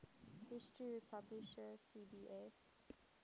history publisher cbs